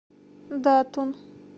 датун